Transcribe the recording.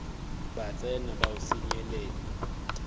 ba tsena ba o senyelet